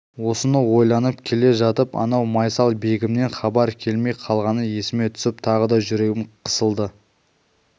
осыны ойланып келе жатып анау майсалбегімнен хабар келмей қалғаны есіме түсіп тағы да жүрегім қысылды